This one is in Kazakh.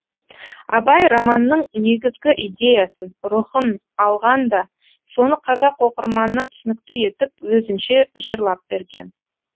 абай романның негізгі идеясын рухын алған да соны қазақ оқырманына түсінікті етіп өзінше жырлап берген